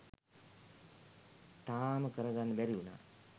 තාම කරගන්න බැරිවුණා.